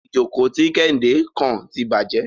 Ìjókò tí Kéhìndé kàn tí bàjé.